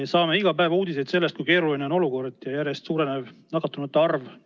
Me kuuleme iga päev uudiseid selle kohta, kui keeruline on olukord ja et nakatunute arv järjest suureneb.